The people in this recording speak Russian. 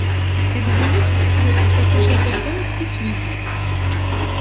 через минуту из темноты послышался тонкий свист